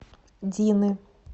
дины